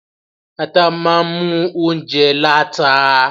Ata máa mú óunjẹ láta.